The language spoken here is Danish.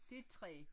Det et træ